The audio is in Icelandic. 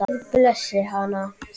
Guð blessi hana.